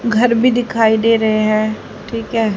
घर भी दिखाई दे रहे हैं ठीक है।